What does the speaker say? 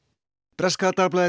breska dagblaðið